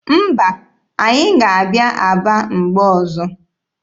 Mba, anyị ga-abịa Aba mgbe ọzọ.